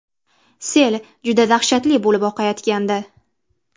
Sel juda dahshatli bo‘lib oqayotgandi.